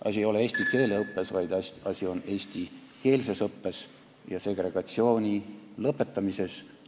Asi ei ole eesti keele õppes, vaid asi on eestikeelses õppes ja segregatsiooni lõpetamises.